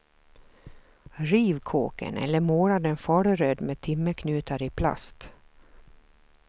Riv kåken eller måla den faluröd med timmerknutar i plast.